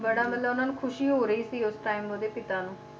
ਬੜਾ ਮਤਲਬ ਉਹਨਾਂ ਨੂੰ ਖ਼ੁਸ਼ੀ ਹੋ ਰਹੀ ਸੀ ਉਸ time ਉਹਦੇ ਪਿਤਾ ਨੂੰ